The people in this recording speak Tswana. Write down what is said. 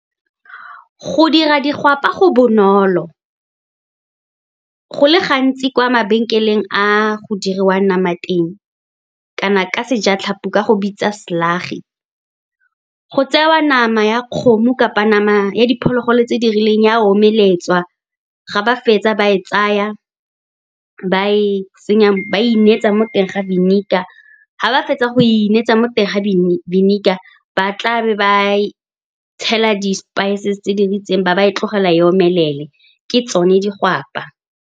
Go dira digwapa go bonolo. Go le gantsi kwa mabenkeleng a go diriwa nama teng, kana ka sejatlhapi, o ka go bitsa slagi go tsewa nama ya kgomo kapa nama ya diphologolo tse di rileng, e a omeletswa. Ga ba fetsa, ba e tsaya, ba e inetsa mo teng ga vinegar. Ga ba fetsa go e inetsa mo teng ga vinegar, ba tla be ba tshela di-spice tse di ritseng, ba ba e tlogela e omelele, ke tsone digwapa.